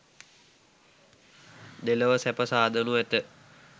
දෙලොව සැප සාදනු ඇත.